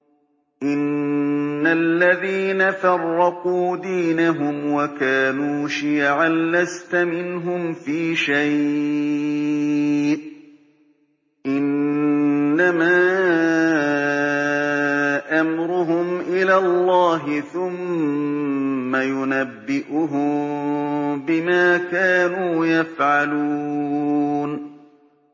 إِنَّ الَّذِينَ فَرَّقُوا دِينَهُمْ وَكَانُوا شِيَعًا لَّسْتَ مِنْهُمْ فِي شَيْءٍ ۚ إِنَّمَا أَمْرُهُمْ إِلَى اللَّهِ ثُمَّ يُنَبِّئُهُم بِمَا كَانُوا يَفْعَلُونَ